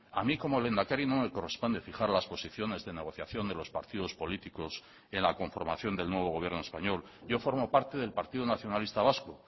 a mí como lehendakari no me corresponde fijar las posiciones de negociación de los partidos políticos en la conformación del nuevo gobierno español yo formo parte del partido nacionalista vasco